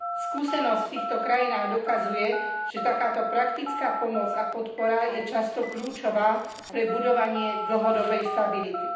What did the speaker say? Skúsenosť v týchto krajinách dokazuje, že takáto praktická pomoc a podpora je často kľúčová pre budovanie dlhodobej stability.